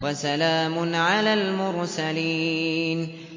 وَسَلَامٌ عَلَى الْمُرْسَلِينَ